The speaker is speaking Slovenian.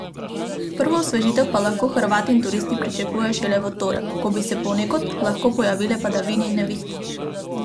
Prvo osvežitev pa lahko Hrvati in turisti pričakujejo šele v torek, ko bi se ponekod lahko pojavile padavine in nevihte.